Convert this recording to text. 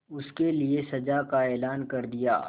उसके लिए सजा का ऐलान कर दिया